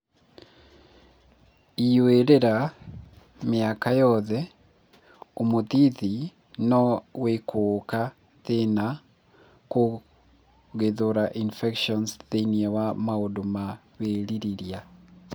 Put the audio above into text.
Ĩyũĩrĩra: Mĩyaka yothe, ũmũthĩthĩ no wĩkũũka thĩna kũgĩthũra infections thĩinĩ wa maũndũ wa wĩrĩrĩria.